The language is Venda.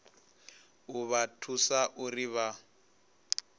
u vha thusa uri vha